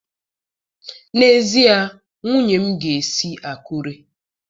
N'ezie, nwunye m ga-esi Akure.